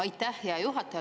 Aitäh, hea juhataja!